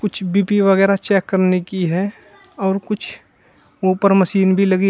कुछ बी_पी वगैरह चेक करने की है और कुछ ऊपर मशीन भी लगी --